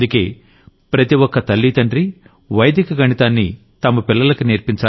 అందుకే ప్రతొక్క తల్లీ తండ్రీ వైదిక గణితాన్ని తమ పిల్లలకి